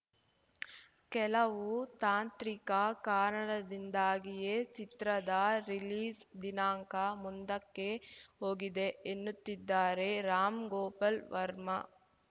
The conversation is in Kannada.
ಕೆಲವು ತಾಂತ್ರಿಕ ಕಾರಣದಿಂದಾಗಿಯೇ ಚಿತ್ರದ ರಿಲೀಸ್‌ ದಿನಾಂಕ ಮುಂದಕ್ಕೆ ಹೋಗಿದೆ ಎನ್ನುತ್ತಿದ್ದಾರೆ ರಾಮ್‌ ಗೋಪಾಲ್‌ ವರ್ಮ